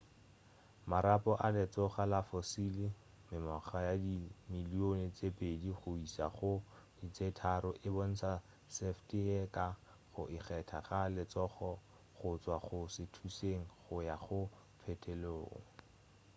marapo a letsogo la fossil mengwaga ye dimilion tše pedi go iša go tše tharo e bontša šefte ye ka go ikgetha ga letsogo go tšwa go šuthišeng go ya go phetolelong